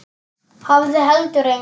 Hafði heldur enga.